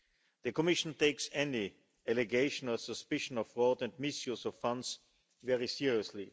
The Commission takes any allegation of suspicion of fraud and misuse of funds very seriously.